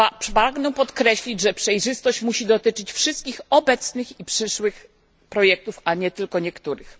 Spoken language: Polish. Pragnę podkreślić, że przejrzystość musi dotyczyć wszystkich obecnych i przyszłych projektów, a nie tylko niektórych.